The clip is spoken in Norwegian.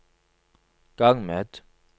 gang med